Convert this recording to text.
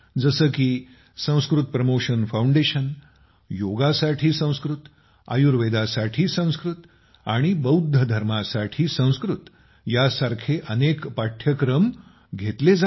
जसे की Sanskrit promotion foundation योगासाठी संस्कृत आयुर्वेदासाठी संस्कृत आणि बौद्ध धर्मासाठी संस्कृत ह्या सारखे अनेक पाठ्यक्रम कोर्सेस करून घेतात